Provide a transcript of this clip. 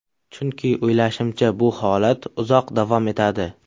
Chunki, o‘ylashimcha, bu holat uzoq davom etadi.